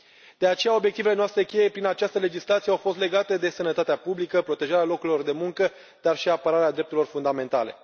De aceea obiectivele noastre cheie prin această legislație au fost legate de sănătatea publică, protejarea locurilor de muncă, dar și apărarea drepturilor fundamentale.